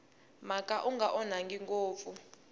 mhaka wu nga onhaki ngopfu